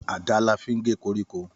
Àdá la fín gẹ kọríkọ